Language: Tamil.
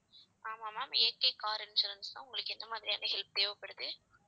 ஆமா ma'amAKcar insurance தான் உங்களுக்கு எந்த மாதிரியான help தேவைப்படுது